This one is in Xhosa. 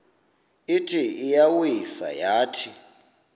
ithi iyawisa yathi